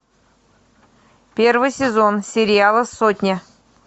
первый сезон сериала сотня